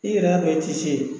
I yɛrɛ y'a dɔn i tɛ se.